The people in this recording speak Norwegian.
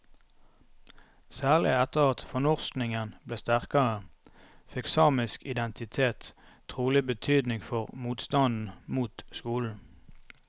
Særlig etter at fornorskningen ble sterkere, fikk samisk identitet trolig betydning for motstanden mot skolen.